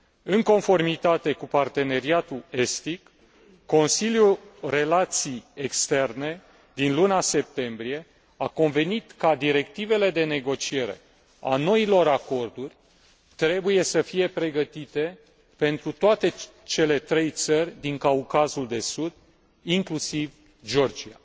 În conformitate cu Parteneriatul estic, Consiliul relații externe din luna septembrie a convenit că directivele de negociere a noilor acorduri trebuie să fie pregătite pentru toate cele trei țări din Caucazul de Sud, inclusiv Georgia.